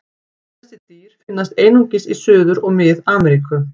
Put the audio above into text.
Þessi dýr finnast einungis í Suður- og Mið-Ameríku.